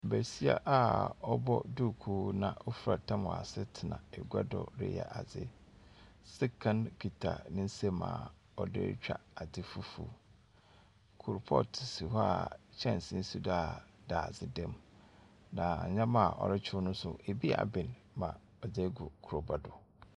Basia a ɔbɔ duukuu na ɔfura tam wɔ ase tena agua do reyɛ adze. Sekan kita ne nsam a ɔde retwa adze fufuw. Koropɔɔto si hɔ a kyɛnse si do dadze dam, na nneɛma a ɔrekyew no nso, ebi aben ma ɔdze egu kuraba do.